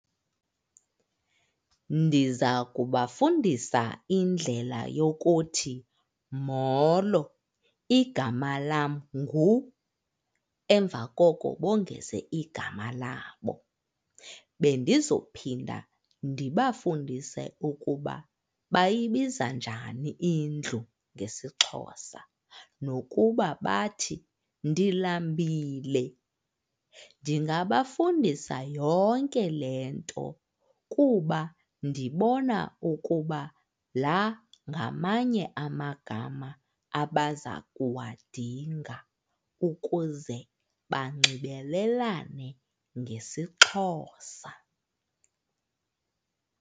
Ndiza kubafundisa indlela yokuthi, molo igama lam ngu, emva koko bongeze igama labo. Bendizophinda ndibafundise ukuba bayibiza njani indlu ngesiXhosa nokuba bathi, ndilambile. Ndingabafundisa yonke le nto kuba ndibona ukuba la ngamanye amagama abaza kuwadinga ukuze banxibelelane ngesiXhosa.